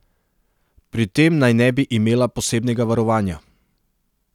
Pri tem naj ne bi imela posebnega varovanja.